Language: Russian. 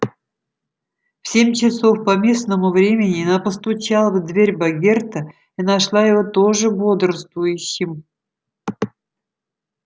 в семь часов по местному времени она постучала в дверь богерта и нашла его тоже бодрствующим